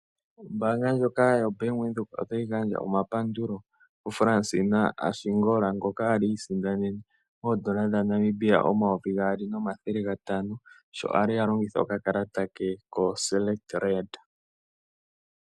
Ombanga ndjoka yoBank Windhoek otayi gandja omapandulo kuFransina Ashingola ngoka ali isindanene oodollar omayovi gaali nomathele gatano, sho ali a longitha okakalata ke koSelekt Red.